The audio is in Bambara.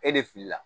E de filila